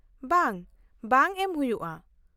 ᱼᱵᱟᱝ, ᱵᱟᱝ ᱮᱢ ᱦᱩᱭᱩᱜᱼᱟ ᱾